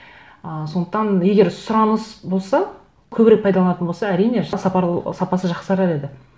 ыыы сондықтан егер сұраныс болса көбірек пайдаланылатын болса әрине сапасы жақсарар еді